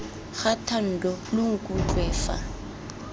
ga thando lo nkutlwe fa